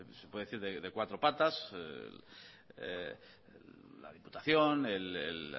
se puede decir de cuatro patas la diputación el